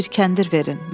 Mənə bir kəndir verin.